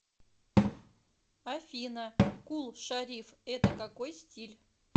афина кул шариф это какой стиль